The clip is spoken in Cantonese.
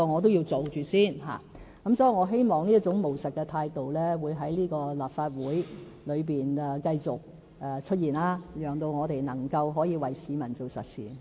所以，我希望這種務實態度在立法會裏會繼續出現，讓我們能夠為市民做點實事。